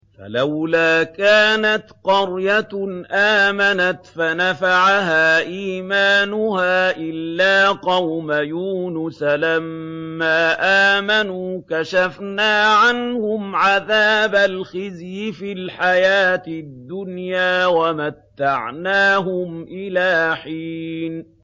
فَلَوْلَا كَانَتْ قَرْيَةٌ آمَنَتْ فَنَفَعَهَا إِيمَانُهَا إِلَّا قَوْمَ يُونُسَ لَمَّا آمَنُوا كَشَفْنَا عَنْهُمْ عَذَابَ الْخِزْيِ فِي الْحَيَاةِ الدُّنْيَا وَمَتَّعْنَاهُمْ إِلَىٰ حِينٍ